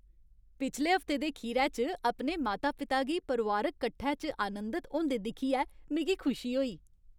पिछले हफ्ते दे खीरै च अपने माता पिता गी परोआरिक कट्ठै च आनंदत होंदे दिक्खियै मिगी खुशी होई।